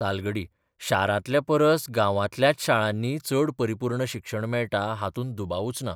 तालगडी शारांतल्या परस गांबांतल्याच शाळांनी चड परिपूर्ण शिक्षण मेळटा हातूंत दुबाबूच ना.